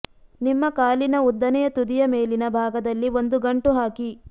ನಿಮ್ಮ ಕಾಲಿನ ಉದ್ದನೆಯ ತುದಿಯ ಮೇಲಿನ ಭಾಗದಲ್ಲಿ ಒಂದು ಗಂಟು ಹಾಕಿ